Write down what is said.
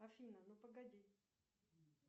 афина ну погоди